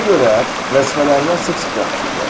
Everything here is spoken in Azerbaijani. Buna görə vəzifələrindən sıx-sıx yapışıblar.